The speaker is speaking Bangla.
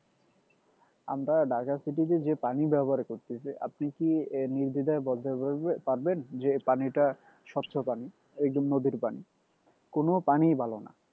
আমরা ঢাকা city তে যে পানি ব্যবহার করতেছি আপনি কি আহ নির্দ্বিধায় বলতে পারবেন যে পানিটা স্বচ্ছ পানি একদম নদীর পানি কোন পানি ভালোনা